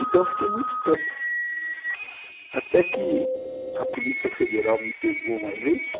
Então eu fiquei muito tempo, até que a Polícia Federal me pegou uma vez,